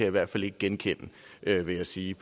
i hvert fald ikke genkende vil jeg sige